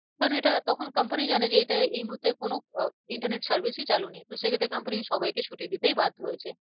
কেন এটা তখন company জানে যে এটা এই মুহূর্তে কোনো আহ internet service ই চালু নেই তো সেই ক্ষেত্রে comapny সবাইকে ছুটি দিতেই বাধ্য হয়েছে।